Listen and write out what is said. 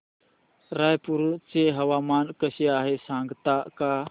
रायपूर चे हवामान कसे आहे सांगता का